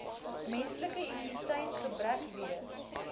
menslike immuniteitsgebrekvirus